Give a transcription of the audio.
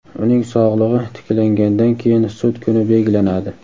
uning sog‘lig‘i tiklangandan keyin sud kuni belgilanadi.